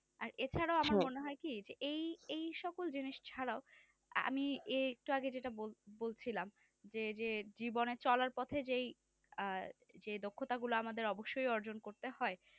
আর এছাড়াও আমার মনে হয় কি এই সকল জিনিস ছাড়াও আমি এর একটু আগে যেটা আগে বলছিলাম যে সে জীবনে চলাল পথে যে সে দক্ষতা গুলো আমাদের অবশ্য অর্জন করতে হয়